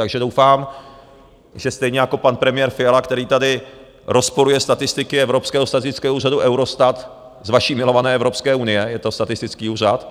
Takže doufám, že stejně jako pan premiér Fiala, který tady rozporuje statistiky evropského statistického úřadu Eurostatu z vaší milované Evropské unie, je to statistický úřad,